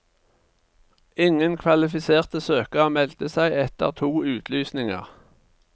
Ingen kvalifiserte søkere meldte seg etter to utlysninger.